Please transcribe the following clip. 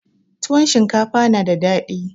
Tuwon shinkafa na da dadi.